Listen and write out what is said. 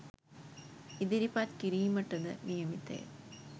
ඉදිරිපත් කිරීමටද නියමිතය